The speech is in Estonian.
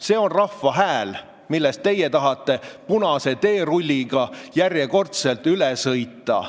See on rahva hääl, millest teie tahate järjekordselt punase teerulliga üle sõita.